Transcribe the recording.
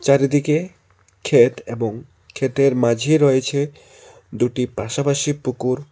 চারিদিকে ক্ষেত এবং ক্ষেতের মাঝে রয়েছে দুটি পাশাপাশি পুকুর।